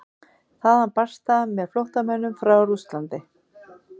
Þaðan barst það með flóttamönnum frá Rússlandi.